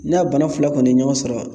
N'a bana fila kɔni ye ɲɔgɔn sɔrɔ